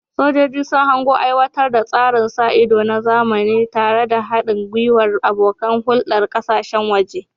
Sojoji sun hango aiwatar da tsarin sa ido na zamani tare da haɗin gwiwar abokan hulɗar ƙasashen waje.